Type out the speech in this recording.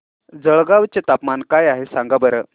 जळगाव चे तापमान काय आहे सांगा बरं